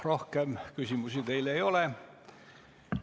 Rohkem küsimusi teile ei ole.